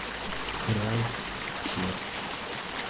крайстчерч